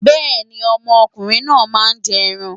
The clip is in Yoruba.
Bẹ́ẹ̀ni, ọmọ ọkùnrin náà máa jẹ ẹran.